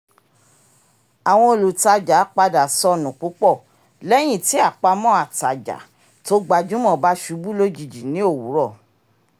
àwọn olùtajà padà sọnù púpọ̀ lẹ́yìn tí àpamọ́ àtàjà tó gbajúmọ̀ bá ṣubú lójijì ní owurọ